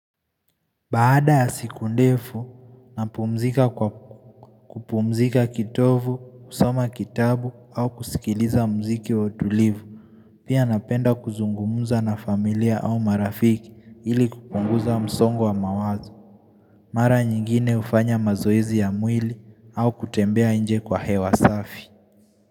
Baada ya siku ndefu, napumzika kwa kupumzika kitovu, kusoma kitabu au kusikiliza mziki wautulivu. Pia napenda kuzungumza na familia au marafiki ili kupunguza msongo wa mawazo. Mara nyingine ufanya mazoezi ya mwili au kutembea nje kwa hewa safi.